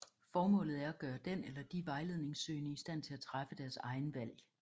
Formålet er at gøre den eller de vejledningssøgende i stand til at træffe deres egen valg